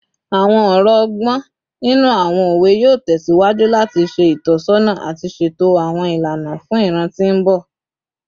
Awọn ọrọ ọgbọn ninu awọn owe yoo tẹsiwaju lati ṣe itọsọna ati ṣeto awọn ilana fun iran ti mbọ